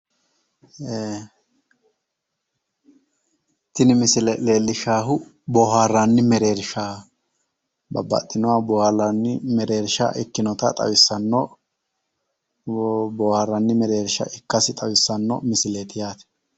tini misile leellishshahu bohaarranni mereersha babbxxinoha bohaarranni mereersha ikkinota xawissanno bohaarranni mereersha ikkasi xawissanno misileeti yaate